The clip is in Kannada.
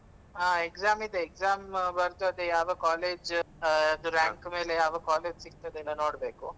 ಹ exam ಇದೆ, exam ಬರ್ದು ಅದೆ ಯಾವ college ಆ ಅದು rank ಮೇಲೆ ಯಾವ college ಸಿಗ್ತದೆ ಎಲ್ಲ ನೋಡ್ಬೇಕು.